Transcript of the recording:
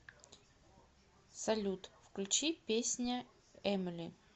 салют включи песня эмили